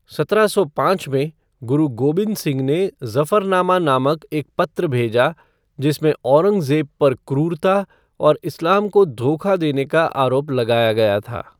सत्रह सौ पाँच में, गुरु गोबिंद सिंह ने ज़फरनामा नामक एक पत्र भेजा, जिसमें औरंगजेब पर क्रूरता और इस्लाम को धोखा देने का आरोप लगाया गया था।